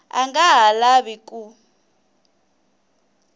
a nga ha lavi ku